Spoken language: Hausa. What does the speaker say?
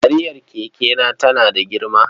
Kariyar kekena tana da girma.